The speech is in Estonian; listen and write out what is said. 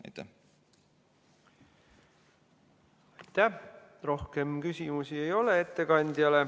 Rohkem ettekandjale küsimusi ei ole.